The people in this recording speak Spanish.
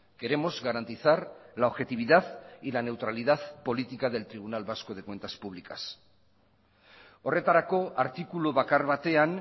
queremos garantizar la objetividad y la neutralidad política del tribunal vasco de cuentas públicas horretarako artikulu bakar batean